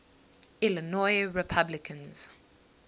illinois republicans